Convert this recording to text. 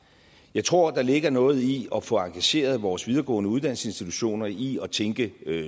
jeg tror der ligger noget i at få engageret vores videregående uddannelsesinstitutioner i at tænke